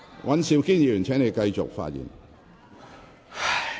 尹兆堅議員，請繼續發言。